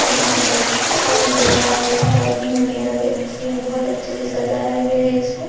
यहां पे अच्छा लग रहा है लाइट्निंग वगैरा भी अच्छी है बहुत अच्छे से सजाया गया है इसको।